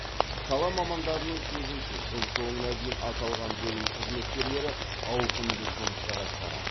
сала мамандарының сөзінше жыл соңына дейін аталған бөлім қызметкерлері ауқымды жұмыстар атқарады